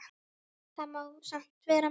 Það má samt vel vera.